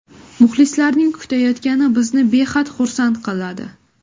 Muxlislarning kutayotgani bizni behad xursand qiladi.